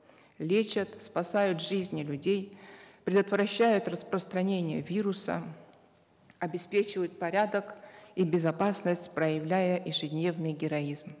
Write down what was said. лечат спасают жизни людей предотвращают распространение вируса обеспечивают порядок и безопасность проявляя ежедневный героизм